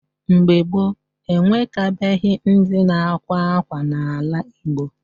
Mgbe gboo, ewekabeghị ndi na-akwa akwa n’ala Igbo.